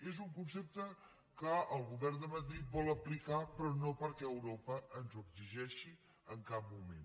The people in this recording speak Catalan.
és un concepte que el govern de madrid vol aplicar però no perquè europa ens ho exigeixi en cap moment